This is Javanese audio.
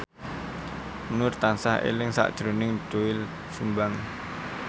Nur tansah eling sakjroning Doel Sumbang